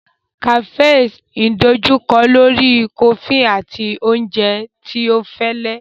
Cafes idojukọ lori kofi ati oúnjẹ tí ọ fẹlẹ.